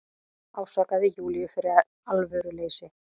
Ásakaði Júlíu fyrir alvöruleysi.